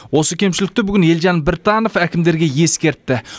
осы кемшілікті бүгін елжан біртанов әкімдерге ескертті